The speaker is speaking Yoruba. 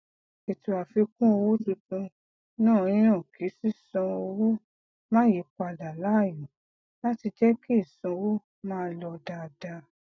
ètò àfikún owó tuntun náà yan kí sísan owó máa yí padà laayo láti jẹ kí ìsanwó máa lọ dáadáa